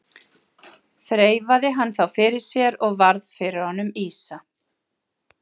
Þreifaði hann þá fyrir sér og varð fyrir honum ýsa.